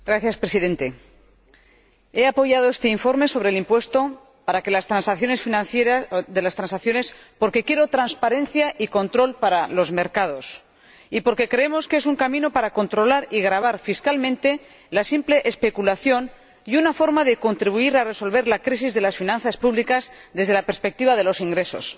Señor Presidente, he apoyado este informe sobre el impuesto de las transacciones porque quiero transparencia y control para los mercados, y porque creo que es un camino para controlar y gravar fiscalmente la simple especulación y una forma de contribuir a resolver la crisis de las finanzas públicas, desde la perspectiva de los ingresos.